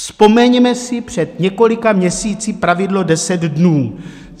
Vzpomeňme si před několika měsíci pravidlo 10 dnů.